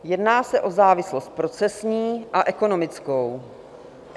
Jedná se o závislost procesní a ekonomickou.